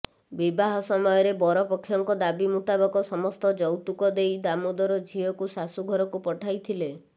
ବିବାହ ସମୟରେ ବରପକ୍ଷଙ୍କ ଦାବି ମୁତାବକ ସମସ୍ତ ଯୌତୁକ ଦେଇ ଦାମୋଦର ଝିଅକୁ ଶାଶୂଘରକୁ ପଠାଇଥିଲେ